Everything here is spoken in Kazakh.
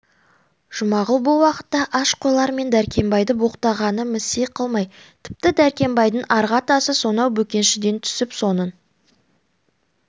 жұмағұл бұл уақытта аш қойлар мен дәркембайды боқтағанын місе қылмай тіпті дәркембайдың арғы атасы сонау бөкеншіден түсіп соның